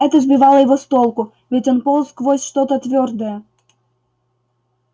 это сбивало его с толку ведь он полз сквозь что-то твёрдое